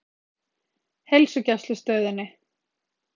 Heilsugæslustöðinni